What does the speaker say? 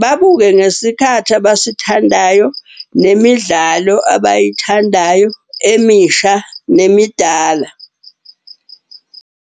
Babuke ngesikhathi abasithandayo nemidlalo abayithandayo emisha nemidala.